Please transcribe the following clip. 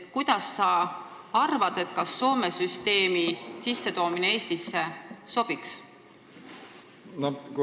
Kuidas sa arvad, kas Soome süsteem Eestisse sobiks?